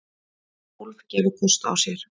Tólf gefa kost á sér.